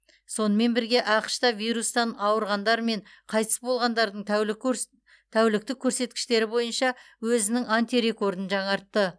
сонымен бірге ақш та вирустан ауырғандар мен қайтыс болғандардың тәуліктік көрсеткіштері бойынша өзінің антирекордын жаңартты